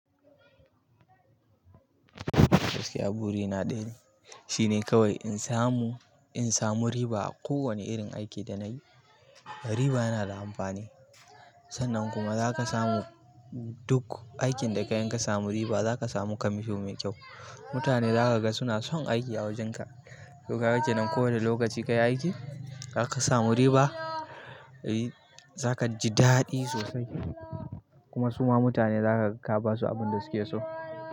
Gaskiya burina dai, shine kawai in samu, in samu riba a kowanne irin aiki da nayi. Riba yana da amfani. Sannan kuma za ka samu duk aikin da kayi in kasamu riba, za ka samu kamisho mai kyau. Mutane za ka ga suna son aiki a wajenka. To kaga kenan kowanne lokaci ka yi aiki, zaka samu riba, eh za kaji daɗi sosai. Kuma suma mutane za kaga kabasu abinda suke so.